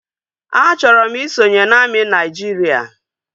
A chọrọ m isonye na amị Naịjiria